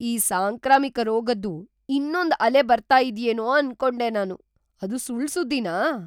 ಈ ಸಾಂಕ್ರಾಮಿಕ ರೋಗದ್ದು ಇನ್ನೊಂದ್ ಅಲೆ ಬರ್ತಾ ಇದ್ಯೇನೋ ಅನ್ಕೊಂಡೆ ನಾನು. ಅದು ಸುಳ್ಳ್ ಸುದ್ದಿನಾ?!